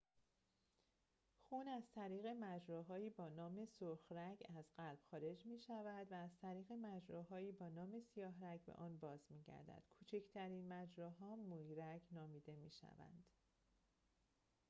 خون از طریق مجراهایی با نام سرخ‌رگ از قلب خارج می‌شود و از طریق مجراهایی با نام سیاه‌رگ به آن باز می‌گردد کوچکترین مجراها مویرگ نامیده می‌شوند